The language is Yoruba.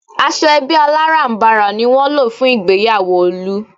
Aṣọ ẹbí alárànbarà ni wọ́n lò fún ìgbéyàwó Olú